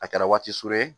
A kɛra waati surun ye